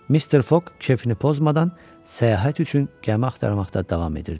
Mr. Foq keyfini pozmadan səyahət üçün gəmi axtarmaqda davam edirdi.